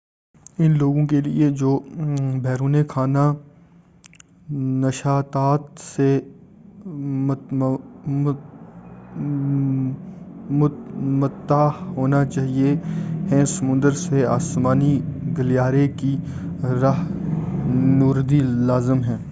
ان لوگوں کے لئے جو بیرونِ خانہ نشاطات سے متمتّع ہونا چاہتے ہیں سمندر سے آسمانی گلیارے کی راہ نوردی لازم ہے